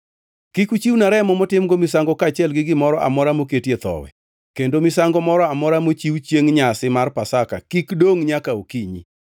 “Kik uchiwna remo motimgo misango kaachiel gi gimoro amora moketie thowi, kendo misango moro amora mochiw chiengʼ nyasi mar Pasaka kik dongʼ nyaka okinyi.